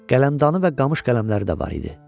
Qələmdanə və qamış qələmləri də var idi.